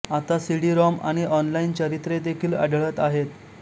आता सीडीरॉम आणि ऑनलाइन चरित्रे देखील आढळत आहेत